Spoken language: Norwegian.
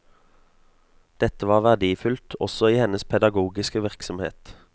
Dette var verdifullt også i hennes pedagogiske virksomhet.